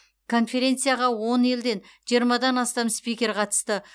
конференцияға он елден жиырмадан астам спикер қатысты